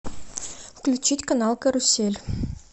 включить канал карусель